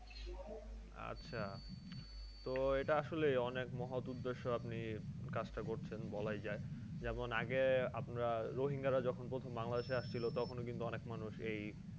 আচ্ছা। তো এটা আসলে অনেক মহৎ উদ্দেশ্য আপনি কাজটা করছেন। বলাই যায় যেমন আগে আমরা রোহিঙ্গারা যখন প্রথম বাংলাদেশে ছিল তখনও কিন্তু অনেক মানুষ এই,